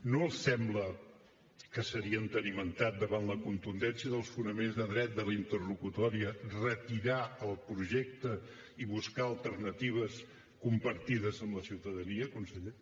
no els sembla que seria entenimentat davant la contundència dels fonaments de dret de la interlocutòria retirar el projecte i buscar alternatives compartides amb la ciutadania conseller